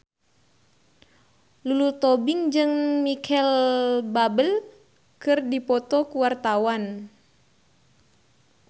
Lulu Tobing jeung Micheal Bubble keur dipoto ku wartawan